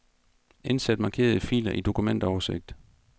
Indsæt markerede filer i dokumentoversigt.